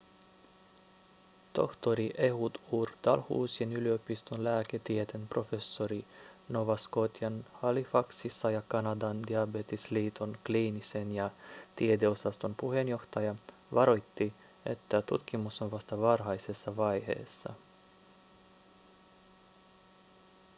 tohtori ehud ur dalhousien yliopiston lääketieteen professori nova scotian halifaxissa ja kanadan diabetesliiton kliinisen ja tiedeosaston puheenjohtaja varoitti että tutkimus on vasta varhaisessa vaiheessa